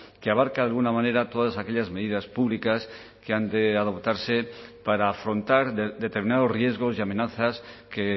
que abarca de alguna manera todas aquellas medidas públicas que han de adoptarse para afrontar determinados riesgos y amenazas que